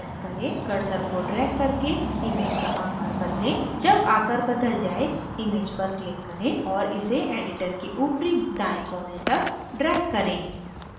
cursor को drag करके image का आकार बदलें जब आकार बदल जाय image पर click करें और इसे editor के ऊपरी दायें कोने तक drag करें